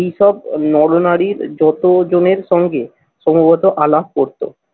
এইসব নরনারীর যতজনের সঙ্গে সম্ভবত আলাপ করতো।